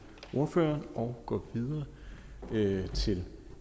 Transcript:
ordføreren og går videre videre til